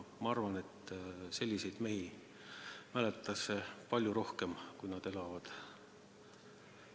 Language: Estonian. Ma arvan, et selliseid mehi mäletatakse palju kauem, kui nad elavad.